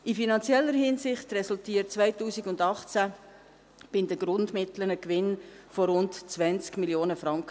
In finanzieller Hinsicht resultierte 2018 bei den Grundmitteln ein Gewinn von rund 20 Mio. Franken.